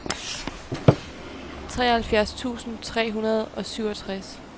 treoghalvfjerds tusind tre hundrede og syvogtres